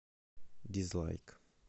дизлайк